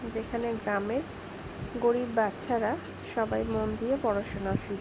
যেখানে গ্রামের গরিব বচ্চার সবাই মন দিয়ে পড়াশুনা শি--